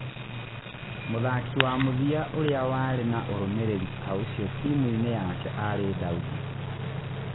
Mũthaki wa mũthia ûrĩ a warĩ na ûrũmĩ rĩ ri ta ũcio timuinĩ yake arĩ Daudi.